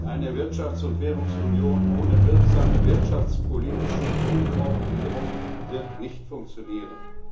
Eine Wirtschafts und Währungsunion ohne wirksame wirtschaftspolitische Koordinierung wird nicht funktionieren!